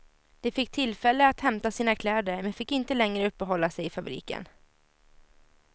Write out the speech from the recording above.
De fick tillfälle att hämta sina kläder men fick inte längre uppehålla sig i fabriken.